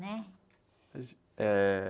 Né?), eh...